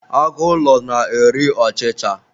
Agụ ụlọ na-eri ọchicha